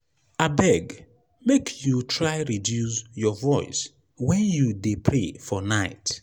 abeg make you try reduce your voice wen you dey pray for night.